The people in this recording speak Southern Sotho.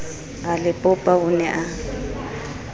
a le popa o ne